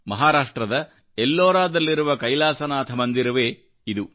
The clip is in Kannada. ಮಹಾರಾಷ್ಟ್ರದಎಲ್ಲೋರಾದಲ್ಲಿರುವ ಕೈಲಾಸನಾಥಮಂದಿರವೇ ಇದು